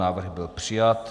Návrh byl přijat.